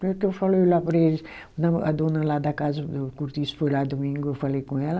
Porque eu falei lá para eles, não a dona lá da casa do Cortiço foi lá domingo, eu falei com ela,